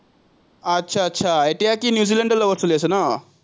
আটচা আটচা, এতিয়া কি নিউজিলেণ্ডৰ লগত চলি আছে ন?